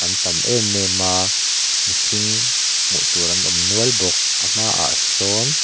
an tam em em a mihring hmuh tur an awm nual bawk a hma ah sawn--